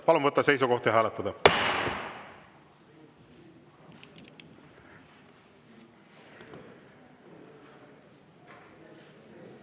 Palun võtta seisukoht ja hääletada!